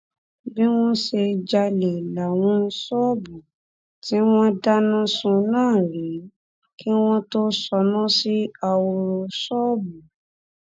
bí wọn sì ṣe jalè láwọn ṣọọbù tí wọn dáná sun náà rèé kí wọn tóó ṣáná sí ahoro ṣọọbù